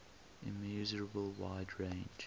immeasurable wide range